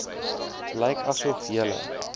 lyk asof julle